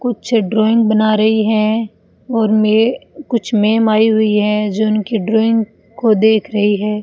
कुछ ड्राइंग बना रही है और मे कुछ मेम आई हुई है जो उनकी ड्राइंग को देख रही है।